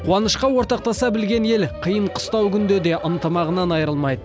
қуанышқа ортақтаса білген ел қиын қыстау күнде де ынтымағынан айырылмайды